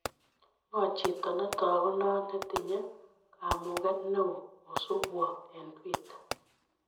Ng'o chito ne taagunot ne tinye kamuget ne oo kosubwo eng' twiiter